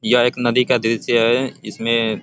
यह एक नदी का दृश्य है। इसमे --